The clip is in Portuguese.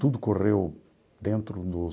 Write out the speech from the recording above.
Tudo correu dentro do